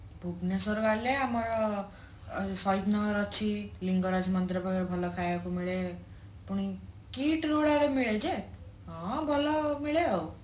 ଭୁବନେଶ୍ଵର ଗଲେ ଆମର ସହିଦନଗର ଅଛି ଲିଙ୍ଗରାଜ ମନ୍ଦିର ପାଖରେ ଭଲ ଖାଇବାକୁ ମିଳେ ପୁଣି KIIT ରୁ ମିଳେ ଯେ ହଁ ଭଲ ମିଳେ ଆଉ